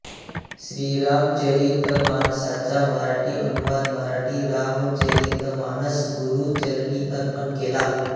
श्रीरामचरितमानसाचा मराठी अनुवाद मराठी रामचरितमानस श्रीगुरूचरणी अर्पण केला